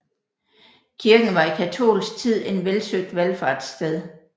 Kirken var i katolsk tid en velsøgt valfartssted